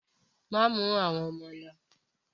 Má mú àwọn ọmọ lo!